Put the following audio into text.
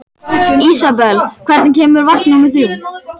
Ísabel, hvenær kemur vagn númer þrjátíu?